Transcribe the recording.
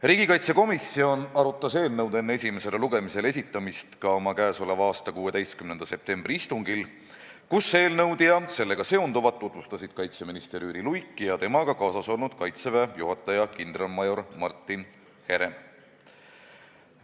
Riigikaitsekomisjon arutas eelnõu enne esimesele lugemisele esitamist oma k.a 16. septembri istungil, kus eelnõu ja sellega seonduvat tutvustasid kaitseminister Jüri Luik ja temaga kaasas olnud Kaitseväe juhataja kindralmajor Martin Herem.